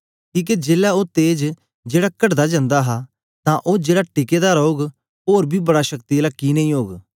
किके जेलै ओ तेज जेड़ा कटदा जन्दा हा तां ओ जेड़ा टिका दा रौग ओर बी बड़ा शक्ति आला कि नेई ओग